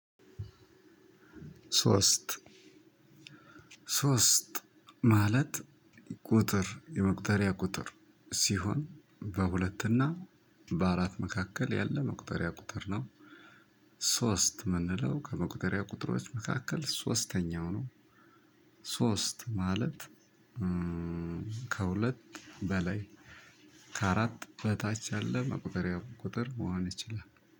ሶስት ሶስት ማለት ቁጥር የመቁጠሪያ ቁጥር ሲሆን በሁለትና በአራት መካከል ያለ መቁጠሪያ ቁጥር ነው። ሶስት የምንለው ከመቁጠሪያ ቁጥሮች መካከል ሶስተኛው ነው። ሶስት ማለት ከሁለት በላይ ከአራት በታች ያለ መቁጠሪያ ቁጥር መሆን ይችላል።